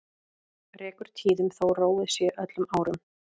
Rekur tíðum þó róið sé öllum árum.